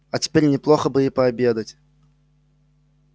а теперь неплохо бы и пообедать